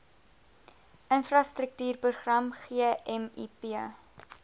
infrastruktuur program gmip